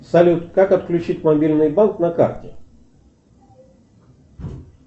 салют как отключить мобильный банк на карте